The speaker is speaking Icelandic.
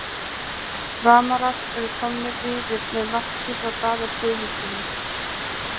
Framarar eru komnir yfir með marki frá Daða Guðmundssyni!!